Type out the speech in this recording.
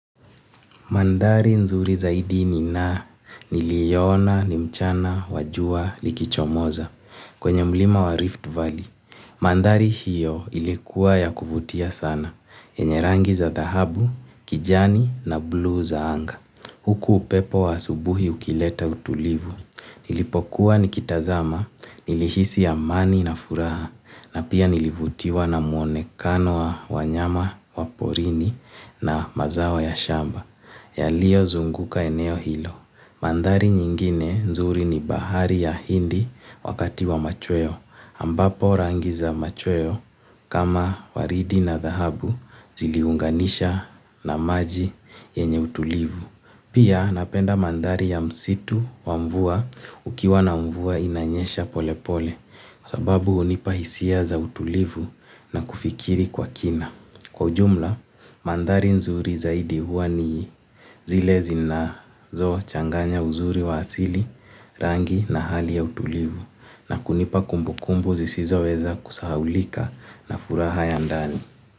Maandhari nzuri zaidi nina niliona, ni mchana, wa jua, likichomoza, kwenye mlima wa Rift Valley. Maandhari hiyo ilikuwa yakuvutia sana, yenye rangi za dahabu, kijani na blue za anga. Huku upepo wa asubuhi ukileta utulivu, nilipokuwa nikitazama, nilihisi amani na furaha, na pia nilivutiwa na muonekano wa nyama, wa porini na mazao ya shamba. Yaliyo zunguka eneo hilo. Maandhari nyingine nzuri ni bahari ya hindi wakati wa machweo. Ambapo rangi za machweo kama waridi na dhahabu zili unganisha na maji yenye utulivu. Pia napenda maandhari ya msitu wa mvua ukiwa na mvua inanyesha pole pole sababu hunipa hisia za utulivu na kufikiri kwa kina. Kwa jumla, maandhari nzuri zaidi huwa ni zile zinazo changanya uzuri wa asili rangi na hali ya utulivu na kunipa kumbu kumbu zisizo weza kusahaulika na furaha ya ndani.